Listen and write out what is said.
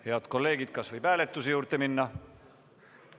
Head kolleegid, kas võib hääletuse juurde minna?